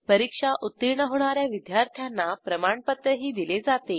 परीक्षा उत्तीर्ण होणा या विद्यार्थ्यांना प्रमाणपत्रही दिले जाते